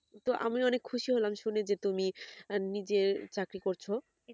তো আমি অনেক খুশি হলাম শুনে যে তুমি নিজে চাকরি করছো